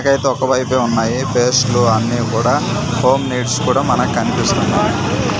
ఇటైతే ఒక వైపే ఉన్నాయి పేస్టులు అన్నీ కూడా హోమ్ నీడ్స్ కూడా మనకనిపిస్తుంది.